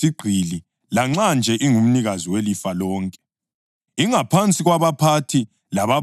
Ingaphansi kwabaphathi lababambeli kuze kufike isikhathi esabekwa nguyise.